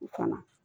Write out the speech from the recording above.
U kana